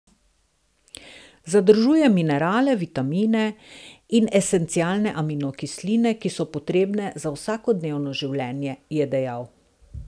Združuje minerale, vitamine in esencialne aminokisline, ki so potrebne za vsakodnevno življenje, je dejal.